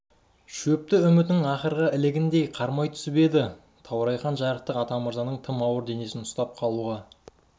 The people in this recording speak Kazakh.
шөпті үмітінің ақырғы ілігіндей қармай түсіп еді таурайхан жарықтық атамырзаның тым ауыр денесін ұстап қалуға